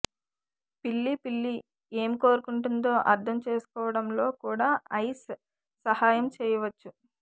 పిల్లి పిల్లి ఏమి కోరుకుంటుందో అర్థం చేసుకోవడంలో కూడా ఐస్ సహాయం చేయవచ్చు